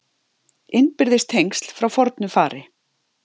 Innbyrðis tengsl frá fornu fari